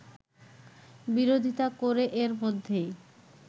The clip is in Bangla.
বিরোধিতা করে এর মধ্যেই